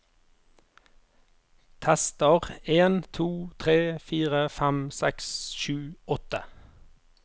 Tester en to tre fire fem seks sju åtte